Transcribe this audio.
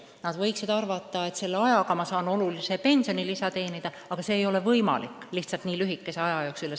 Nad võiksid arvata, et selle ajaga ma saan olulise pensionilisa teenida, aga see ei ole nii lühikese aja jooksul lihtsalt võimalik.